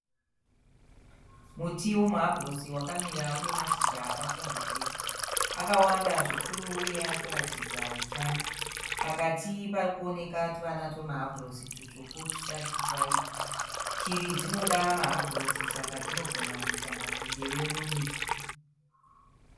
Muti wemuhabhurosi wakamira une mashizha akapfubvutira. Akawanda zvikuru uye arikuratidza hutano. Pakati parikuoneka tuvana twemuhabhurosi tutsvuku tusati twaibva. Shiri dzinoda mahabhurosi Saka dzinogona kuita matendere mumiti.